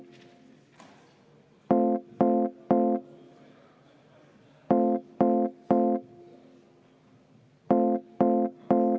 Rene Kokk, palun!